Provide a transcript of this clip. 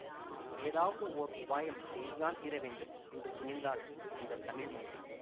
ஏதாவது ஓர் உபாயம் செய்து தான் தீரவேண்டும் என்று துணிந்தாள் அந்த தமிழ் மங்கை